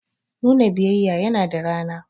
Nuna biyayya yana da rana.